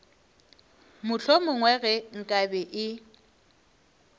mohlomongwe ge nka be e